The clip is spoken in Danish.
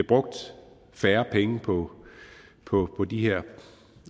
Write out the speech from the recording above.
brugt færre penge på på de her